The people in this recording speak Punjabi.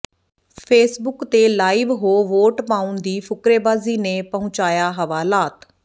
ਫੇਸਬੁੱਕ ਤੇ ਲਾਈਵ ਹੋ ਵੋਟ ਪਾਉਣ ਦੀ ਫੁਕਰੇਬਾਜ਼ੀ ਨੇ ਪਹੁੰਚਾਇਆ ਹਵਾਲਾਤ